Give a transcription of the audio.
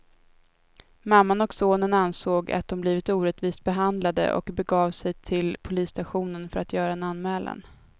Mamman och sonen ansåg att de blivit orättvist behandlade och begav de sig till polisstationen för att göra en anmälan.